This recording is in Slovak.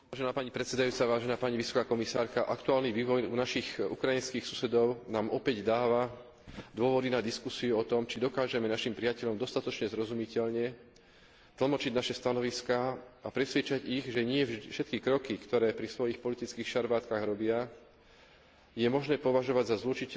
Aktuálny vývoj u našich ukrajinských susedov nám opäť dáva dôvody na diskusiu o tom, či dokážeme našim priateľom dostatočne zrozumiteľne tlmočiť naše stanoviská a presviedčať ich, že nie všetky kroky, ktoré pri svojich politických šarvátkach robia, je možné považovať za zlučiteľné s našimi demokratickými zvyklosťami.